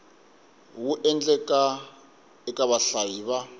wu endlaka eka vahlayi va